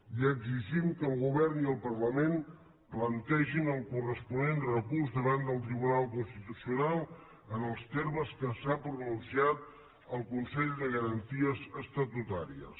i exigim que el govern i el parlament plantegin el corresponent recurs davant del tribunal constitucional en els termes que s’ha pronunciat el consell de garanties estatutàries